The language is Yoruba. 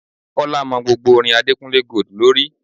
Kọ́lá mọ gbogbo orin Adekunle Gold lórí.